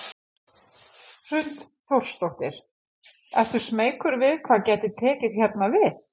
Hrund Þórsdóttir: Ertu smeykur við hvað gæti tekið hérna við?